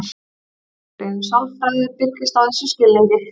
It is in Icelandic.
Fræðigreinin sálfræði byggist á þessum skilningi.